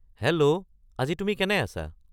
hello আজি তুমি কেনে আছা